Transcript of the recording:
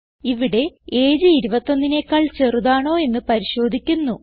ഇവിടെ എജിഇ 21നെക്കാൾ ചെറുതാണോ എന്ന് പരിശോധിക്കുന്നു